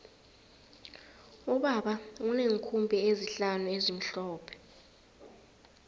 ubaba uneenkhumbi ezihlanu ezimhlophe